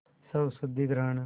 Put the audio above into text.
स्वशुद्धिकरण